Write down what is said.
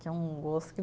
Que é um gosto.